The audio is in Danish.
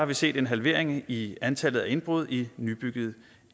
vi set en halvering i antallet af indbrud i nybyggede